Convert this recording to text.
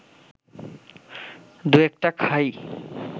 দু-একটা খাই